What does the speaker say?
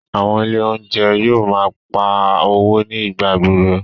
Àwọn Ilé oúnjẹ yóò máa ń pá owó ní ìgbà gbogbo